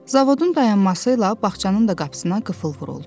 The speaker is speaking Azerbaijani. Zavodun dayanması ilə bağçanın da qapısına qıfıl vuruldu.